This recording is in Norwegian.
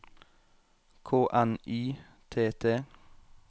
K N Y T T